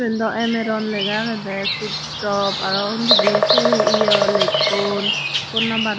yen daw amaron lega agede pit stop araw undidi se yaw lekkon phone number un.